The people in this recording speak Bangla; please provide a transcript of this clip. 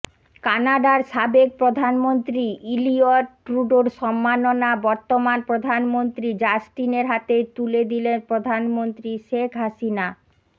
কানাডার সাবেক প্রধানমন্ত্রী ইলিয়ট ট্রুডোর সম্মাননা বর্তমান প্রধানমন্ত্রী জাস্টিনের হাতে তুলে দিলেন প্রধানমন্ত্রী শেখ হাসিনা